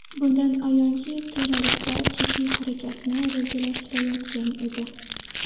Bundan ayonki, terroristlar jiddiy harakatni rejalashtirayotgan edi.